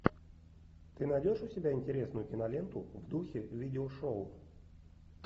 ты найдешь у себя интересную киноленту в духе видеошоу